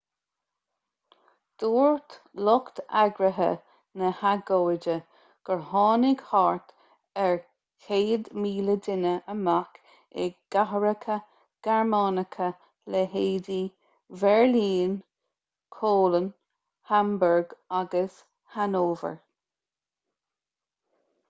dúirt lucht eagraithe na hagóide gur tháinig thart ar 100,000 duine amach i gcathracha gearmánacha leithéidí bheirlín köln hamburg agus hanover